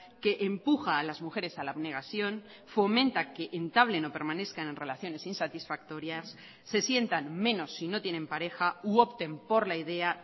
que empuja a las mujeres a la abnegación fomenta que entablen o permanezcan en relaciones insatisfactorias se sientan menos si no tienen pareja u opten por la idea